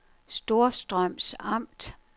Storstrøms Amt